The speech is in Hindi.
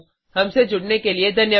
हमारे साथ जुड़ने के लिये धन्यवाद